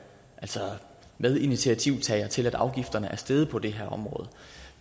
medinitiativtager til at afgifterne er steget på det her område